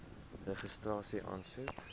registrasieaansoek